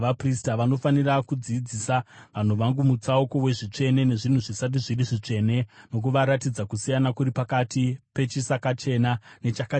Vanofanira kudzidzisa vanhu vangu mutsauko wezvitsvene nezvinhu zvisati zviri zvitsvene nokuvaratidza kusiyana kuri pakati pechisakachena nechakachena.